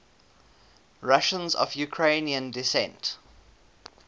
russians of ukrainian descent